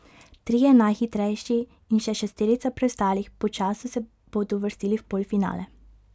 Trije najhitrejši in še šesterica preostalih po času se bodo uvrstili v polfinale.